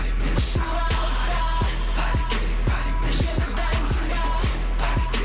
ұшуға алысқа енді дайынсың ба